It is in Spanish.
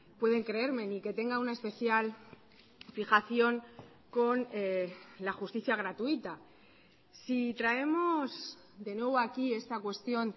pueden creerme ni que tenga una especial fijación con la justicia gratuita si traemos de nuevo aquí esta cuestión